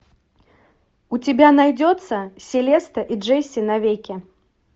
у тебя найдется селеста и джесси навеки